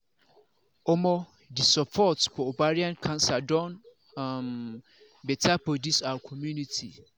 omo the support for ovarian cancer don um better for this our community